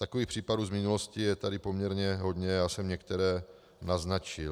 Takových případů z minulosti je tady poměrně hodně, já jsem některé naznačil.